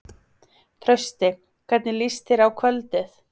Trausti, hvernig líst þér á kvöldið?